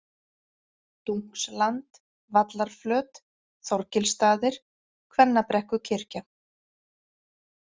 Dunksland, Vallarflöt, Þorgilsstaðir, Kvennabrekkukirkja